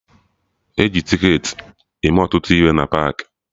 E ji ticketị eme ọtụtụ ihe omume na paakị